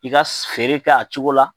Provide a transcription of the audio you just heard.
I ka feere kɛ a cogo la